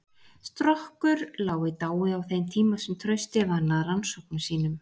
Strokkur lá í dái á þeim tíma sem Trausti vann að rannsóknum sínum.